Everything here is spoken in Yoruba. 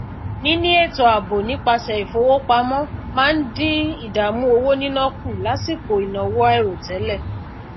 níní ètò ààbò nípasẹ ìfowópamọ máa n dín idaamu owo nina kù lásìkò ìnáwó àìròtẹlẹ